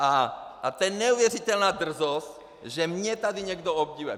A to je neuvěřitelná drzost, že mě tady někdo obviňuje.